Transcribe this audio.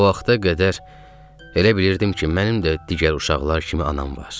O vaxta qədər elə bilirdim ki, mənim də digər uşaqlar kimi anam var.